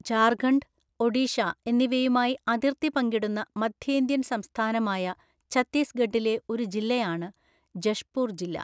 ജാർഖണ്ഡ്, ഒഡീഷ എന്നിവയുമായി അതിർത്തി പങ്കിടുന്ന മധ്യേന്ത്യൻ സംസ്ഥാനമായ ഛത്തീസ്ഗഢിലെ ഒരു ജില്ലയാണ് ജഷ്പൂർ ജില്ല.